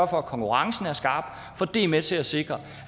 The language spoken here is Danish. for at konkurrencen er skarp for det er med til at sikre